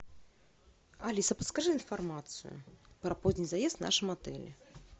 алиса подскажи информацию про поздний заезд в нашем отеле